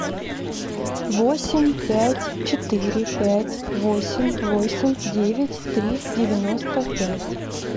восемь пять четыре пять восемь восемь девять три девяносто пять